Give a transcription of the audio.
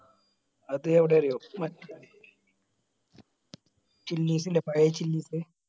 അത് എവിടെയാ അറിയോ മാറ്റ് chillies ഇല്ലേ പഴയ chillies